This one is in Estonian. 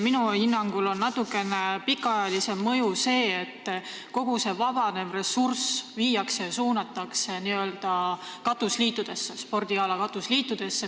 Minu hinnangul on selle natuke pikaajalisem mõju see, et kogu vabanev ressurss viiakse ja suunatakse spordi katusliitudesse.